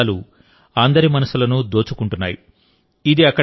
ఇప్పుడు వాటి అందాలు అందరి మనసులను దోచుకుంటున్నాయి